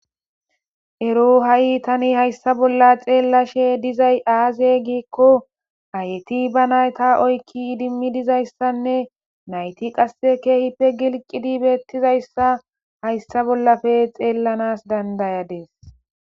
Ero ha'i tani hayssa bolla xeellashe dizay aaze giikko ayeti ba nayta oykki idimmi dizayssanne nayti qasse keehippe gilqidi beettizayssa hayssa bollafe xeellanas dandayadees.